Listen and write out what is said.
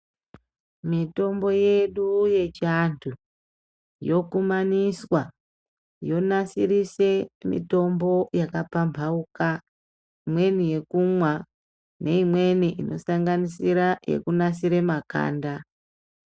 Mitombo yedu yechiantu yokumaniswa yonasirise mitombo yakapambauka. Imweni yekumwa neimweni inosanganisisa yekunasiere makanda.